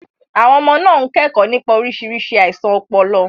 Àwọn ọmọ náà ń kẹ́kọ̀ọ́ nípa oríṣiríṣi àìsàn ọpọlọ.